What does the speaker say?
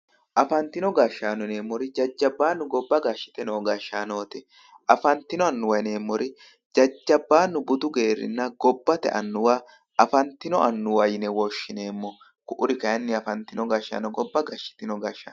afantinno gashshaano yineemmori jajjabbu gobba gashshite no gashshaanooti afantino annuwa yineemmori jajjabbaanu budu geerrunna gobbate annuwa afantino annuwa yine woshshineemmo ku"uri kayiinni afantino gashshaano gobba gashshitino gashshaano.